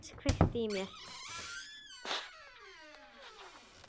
Inntak þess kveikti í mér.